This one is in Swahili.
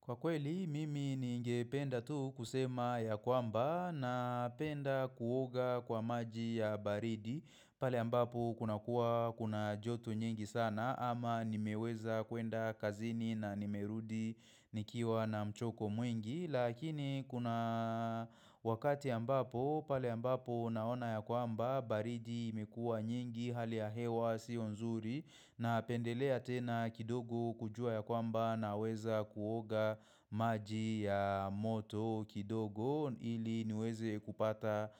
Kwa kweli, mimi ningependa tu kusema ya kwamba napenda kuoga kwa maji ya baridi, pale ambapo kuna kuwa kuna joto nyingi sana ama nimeweza kuenda kazini na nimerudi nikiwa na mchoko mwingi. Lakini kuna wakati ambapo pale ambapo naona ya kwamba baridi imekuwa nyingi hali ya hewa sio nzuri napendelea tena kidogo kujua ya kwamba naweza kuoga maji ya moto kidogo ili niweze kupata